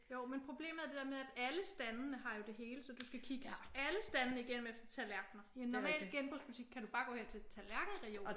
Jo men problemet er det der med at alle standene har jo det hele. Så du skal kigge alle standene igennem efter tallerkener. I en normal genbrugsbutik kan du bare gå hen til tallerkenreolen